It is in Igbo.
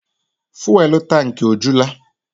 Fụ́élú tankị ọ jula?